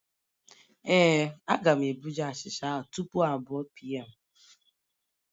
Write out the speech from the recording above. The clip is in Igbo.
Ee, Aga'm ebuga achicha ahụ tupu m abụọ pm